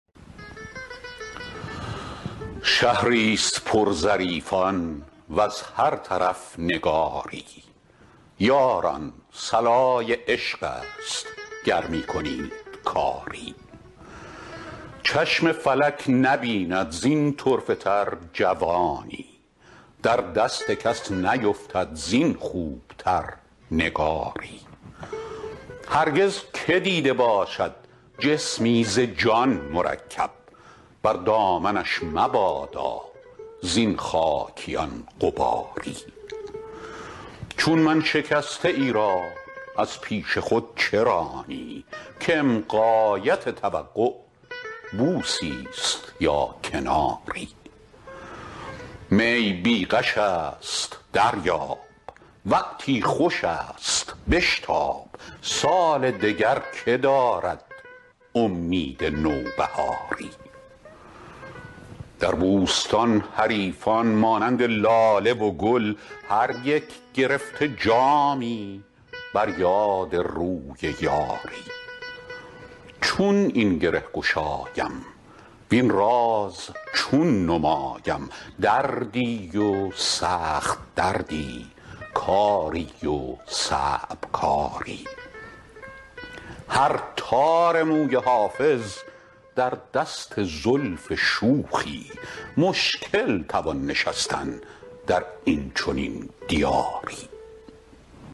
شهری ست پر ظریفان وز هر طرف نگاری یاران صلای عشق است گر می کنید کاری چشم فلک نبیند زین طرفه تر جوانی در دست کس نیفتد زین خوب تر نگاری هرگز که دیده باشد جسمی ز جان مرکب بر دامنش مبادا زین خاکیان غباری چون من شکسته ای را از پیش خود چه رانی کم غایت توقع بوسی ست یا کناری می بی غش است دریاب وقتی خوش است بشتاب سال دگر که دارد امید نوبهاری در بوستان حریفان مانند لاله و گل هر یک گرفته جامی بر یاد روی یاری چون این گره گشایم وین راز چون نمایم دردی و سخت دردی کاری و صعب کاری هر تار موی حافظ در دست زلف شوخی مشکل توان نشستن در این چنین دیاری